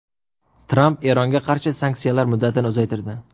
Tramp Eronga qarshi sanksiyalar muddatini uzaytirdi.